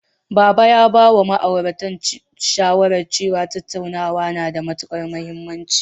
Baba ya bawa sababbin ma'auratan shawara cewa, tattauna na da matuƙar mahimmanci.